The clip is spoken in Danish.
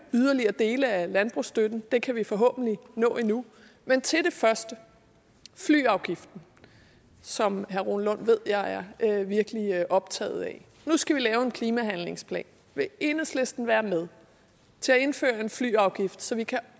yderligere dele af landbrugsstøtten grøn det kan vi forhåbentlig nå endnu men til det første flyafgiften som herre rune lund ved jeg virkelig er optaget af nu skal vi lave en klimahandlingsplan vil enhedslisten være med til at indføre en flyafgift så vi kan